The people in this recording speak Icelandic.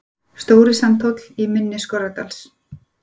Stóri Sandhóll, í mynni Skorradals.